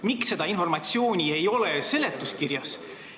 Miks seda informatsiooni ei ole seletuskirjas?